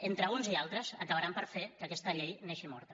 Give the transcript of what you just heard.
entre uns i altres acabaran per fer que aquesta llei neixi morta